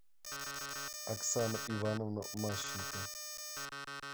оксану ивановну мащенко